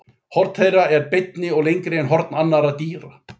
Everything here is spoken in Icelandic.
Horn þeirra eru beinni og lengri en horn annarra dýra.